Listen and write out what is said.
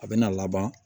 A bɛ na laban